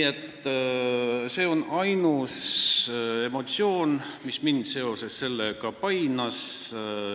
See on ainus emotsioon, mis mind seoses sellega painas.